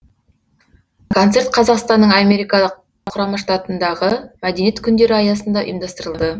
концерт қазақстанның америка құрама штатындағы мәдениет күндері аясында ұйымдастырылды